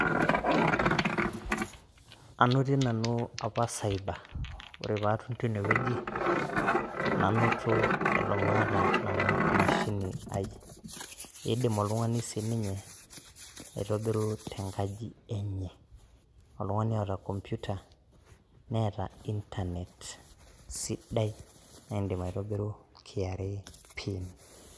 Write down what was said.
anotie nanu apa cyber ore pee atum teine wueji, nanoto nanu eton maata emashini ai, kidim oltungani siininye aitobiru tenkaji enye. oltungani otaa computer neeta internet sidai naa idim aitobiru kra pin.